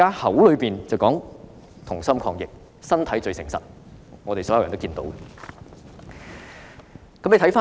口說"同心抗疫"，但身體最誠實，我們所有人也看得到。